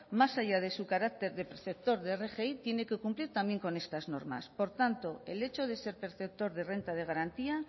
más allá de su carácter de preceptor de rgi tiene que cumplir también con estas normas por tanto el hecho de ser perceptor de renta de garantía